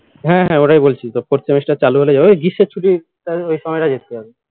হ্যাঁ হ্যাঁ ওটাই বলছি তো fourth semester চালু হলে ওই গ্রীষ্মের ছুটি ওই সময়টাই যেতে হবে